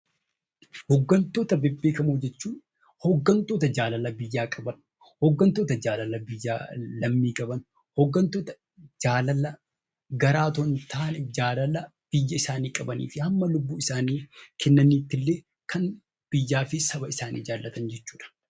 Hooggantoota beekamoo jechuun namoota jaalala biyyaa qaban, hooggantoota lammii isaanii jaallatanii fi biyya isaaniif hanga lubbuu isaanii dabarsanii kennanitti biyya isaani kan jaalatan jechuudha.